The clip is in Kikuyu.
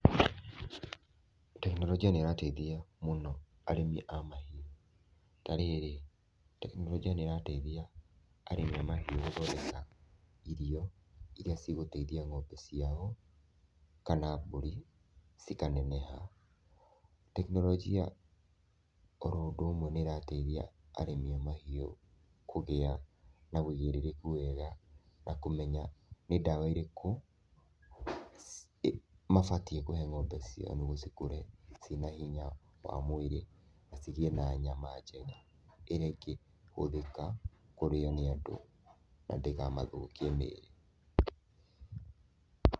Tekinoronjia nĩ ĩrateithia mũno arĩmi a mahiũ, ta rĩrĩ, tekinoronjia nĩ ĩrateithia arĩmi a mahiũ gũthondeka irio iria cigũteithia ng'ombe ciao kana mbũri cikaneneha. Tekinoronjia o ũndũ ũmwe nĩ ĩrateithia arĩmi a mahiũ kũgĩa na ũigĩrĩrĩku wega na kũmenya nĩ ndawa irĩkũ mabatiĩ kũhe ng'ombe ciao nĩguo cikũre ciĩna hinya wa mwĩrĩ na cigĩe na nyama njega ĩrĩa ĩngĩhũthĩka kũrĩo nĩ andũ na ndĩkamathũkie mĩrĩ.